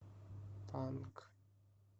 панк